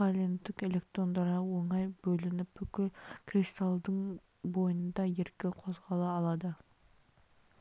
валенттік электрондары оңай бөлініп бүкіл кристалдың бойында еркін қозғала алады